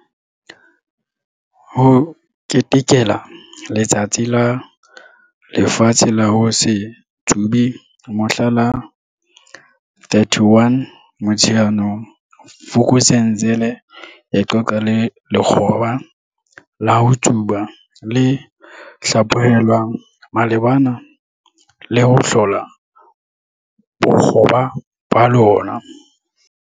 HO KETEKELA Letsatsi la Lefatshe la ho se Tsube mohla la 31 Motsheanong, Vuk'uzenzele e qoqa le lekgoba la ho tsuba le hlaphohelwang malebana le ho hlola bokgoba ba lona.